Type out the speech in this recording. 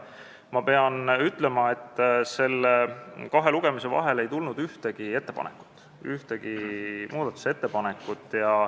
Ma pean ütlema, et kahe lugemise vahel ei tulnud ühtegi muudatusettepanekut.